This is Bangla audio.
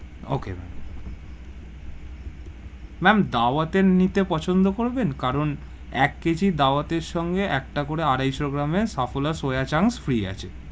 Okay ma'am ma'am দাওয়ত এর নিতে পছন্দ করবেন, কারণ এক KG দাওয়াতের সঙ্গে একটা করে আড়াইশো গ্রামের সাফওলা soya chunks free আছে,